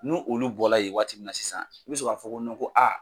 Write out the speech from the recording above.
Nu olu bɔla ye waati min na sisan i bɛ sɔn k'a fɔ ko ko